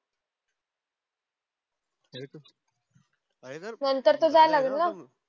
नंतर जा लागेल ना